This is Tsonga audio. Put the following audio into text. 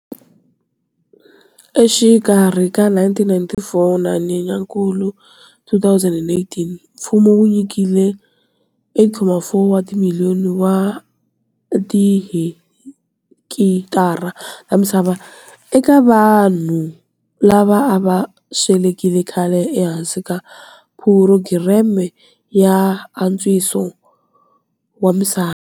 Exikarhi ka 1994 na Nyenyakulu 2018 mfumo wu nyikile 8,4 wa timiliyoni wa tihekitara ta misava eka vanhu lava a va swelekile khale ehansi ka phurogireme ya antswiso wa misava.